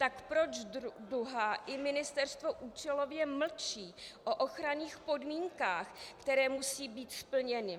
Tak proč Duha i ministerstvo účelově mlčí o ochranných podmínkách, které musí být splněny?